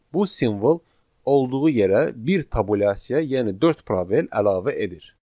Bu simvol olduğu yerə bir tabulyasiya, yəni dörd provel əlavə edir.